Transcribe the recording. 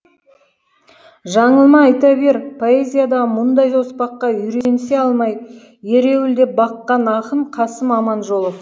жаңылма айта бер поэзиядағы мұндай оспаққа үйренісе алмай ереуілдеп баққан ақын қасым аманжолов